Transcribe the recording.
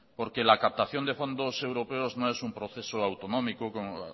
porque la captación de fondos europeos no es un proceso